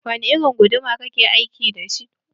Wani irin guduma ka ke aiki dashi?